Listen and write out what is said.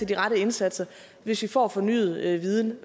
de rette indsatser hvis vi får fornyet viden